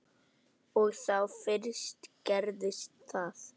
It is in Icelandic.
Og þá fyrst gerðist það.